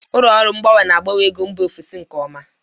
Ụlọ ọrụ mgbanwe na-agbanwe ego mba ofesi nke ọma.